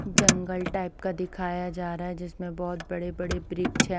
जंगल type का दिखाया जा रहा है जिसमें बहोत बड़े बड़े वृक्ष हैं।